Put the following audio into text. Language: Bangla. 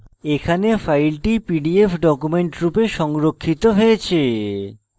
এখানে file pdf document রূপে সংরক্ষিত হয়েছে